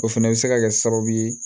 O fɛnɛ bɛ se ka kɛ sababu ye